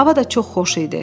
Hava da çox xoş idi.